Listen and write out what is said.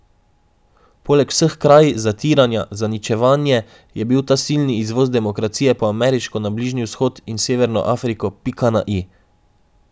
Poleg vseh kraj, zatiranja , zaničevanje je bil ta silni izvoz demokracije po ameriško na Bližnji vzhod in severno Afriko pika na i.